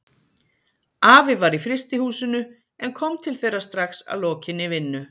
Afi var í frystihúsinu en kom til þeirra strax að lokinni vinnu.